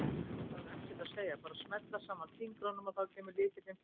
Maður þarf ekkert að segja, bara smella saman fingrunum og þá kemur lykillinn fljúgandi!